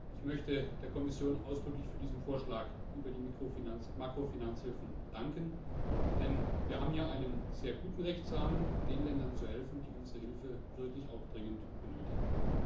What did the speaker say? Ich möchte der Kommission ausdrücklich für diesen Vorschlag über die Makrofinanzhilfen danken, denn wir haben hier einen sehr guten Rechtsrahmen, um den Ländern zu helfen, die unsere Hilfe wirklich dringend benötigen.